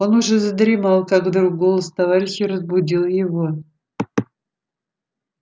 он уже задремал как вдруг голос товарища разбудил его